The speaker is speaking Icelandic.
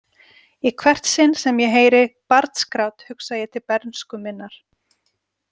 Í hvert sinn sem ég heyri barnsgrát hugsa ég til bernsku minnar.